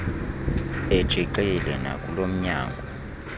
etshixile nakulo mnyango